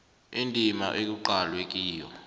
indima ekuqalwe kiyo